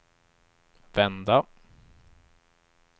vända